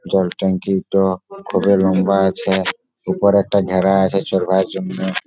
জল টাংকিট কতটা লম্বা আছে। উপরে একটা ঘেরা আছে চরবার জন্যে।